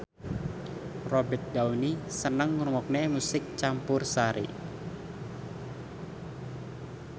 Robert Downey seneng ngrungokne musik campursari